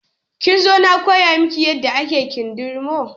Kin zo na koya miki yadda ake kindirmo?